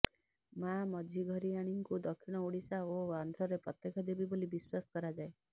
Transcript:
ମା ମଝିଘରିଆଣିଙ୍କୁ ଦକ୍ଷିଣ ଓଡିଶା ଓ ଆନ୍ଧ୍ରରେ ପ୍ରତ୍ୟକ୍ଷ ଦେବୀ ବୋଲି ବିଶ୍ବାସ କରାଯାଏ